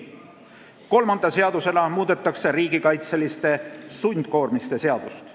Kolmanda seadusena muudetakse riigikaitseliste sundkoormiste seadust.